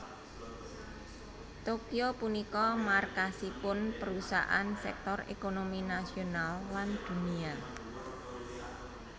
Tokyo punika markasipun perusahaan sektor ékonomi nasional lan dunia